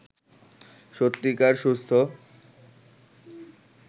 সত্যিকার সুস্থ